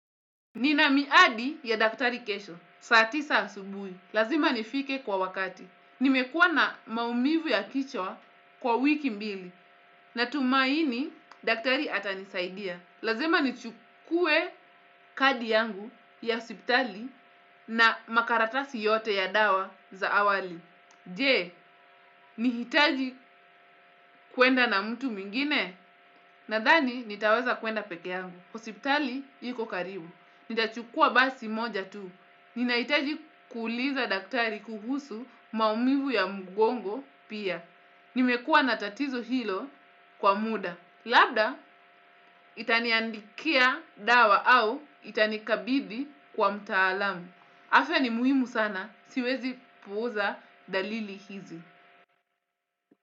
Nina miadi ya daktari kesho, saatisa asubui, lazima nifike kwa wakati. Nimekuwa na maumivu ya kichwa kwa wiki mbili, na tumaini daktari atanisaidia. Lazima nichukue kadi yangu ya siptali na makaratasi yote ya dawa za awali. Jee, nihitaji kwenda na mtu mwingine? Nadhani nitaweza kwenda peke yangu, hosptali iko karibu. Nita chukua basi moja tu, ninahitaji kuuliza daktari kuhusu maumivu ya mgongo pia, nimekuwa natatizo hilo kwa muda, labda itaniandikia dawa au itanikabidhi kwa mtaalamu, afya ni muhimu sana, siwezi puuza dalili hizi.